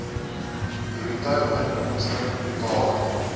bruto inkomste totale